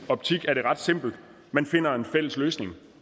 optik er det ret simpelt man finder en fælles løsning